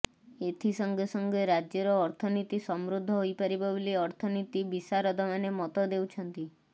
ଏଥି ସଂଗେ ସଂଗେ ରାଜ୍ୟର ଅର୍ଥନୀତି ସମୃଦ୍ଧ ହୋଇପାରିବ ବୋଲି ଅର୍ଥନୀତି ବିଶାରଦମାନେ ମତ ଦେଉଛନ୍ତି